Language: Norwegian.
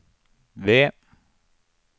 V